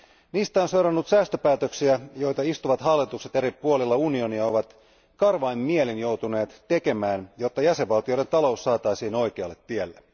Niistä on seurannut säästöpäätöksiä, joita istuvat hallitukset eri puolilla unionia ovat karvain mielin joutuneet tekemään, jotta jäsenvaltioiden talous saataisiin oikealle tielle.